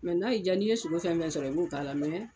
n'a y'i jaa n'i ye sogo fɛn fɛn sɔrɔ i b'o k'a la